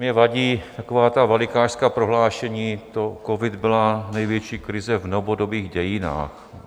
Mně vadí taková ta velikášská prohlášení, že covid byla největší krize v novodobých dějinách.